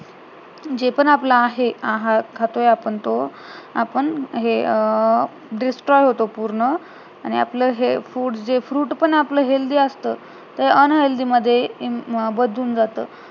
जे पण आपलं आहे आहार खातोय आपण तो आपण हे अं distroy होतो पूर्ण आणि आपलं हे food म्हणजे fruit पण आपलं हे healthy असतं ते unhealthy मध्ये बदलून जातं